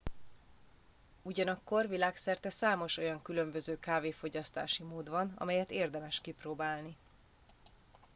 ugyanakkor világszerte számos olyan különböző kávéfogyasztási mód van amelyet érdemes kipróbálni